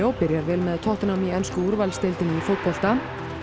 byrjar vel með tottenham í ensku úrvalsdeildinni í fótbolta